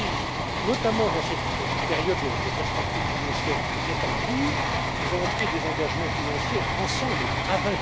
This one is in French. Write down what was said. avons pris, notamment dans cette période des perspectives financières qui est en cours, des engagements financiers ensemble, à